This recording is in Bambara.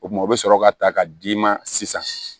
O tuma o bɛ sɔrɔ ka ta ka d'i ma sisan